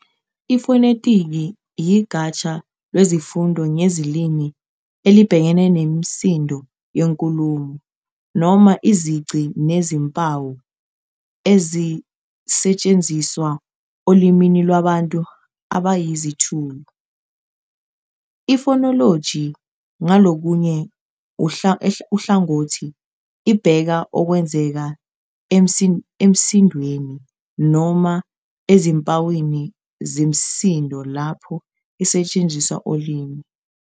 Ifonetiki yigatsha lwesifundo ngezilimi elibhekene nemisindo yenkulumo, noma - izici zezimpawu ezisetshenziswa olimini lwabantu abayizithulu. Ifonoloji, ngakolunye uhlangothi, ibheka okwenzeka emisindweni noma ezimpawini zemisindo lapho isetshenziswa olimini.